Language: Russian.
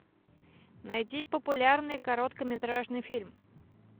найди популярный короткометражный фильм